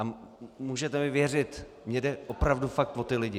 A můžete mi věřit, mně jde opravdu fakt o ty lidi.